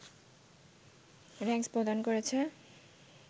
র‌্যাংস প্রদান করেছে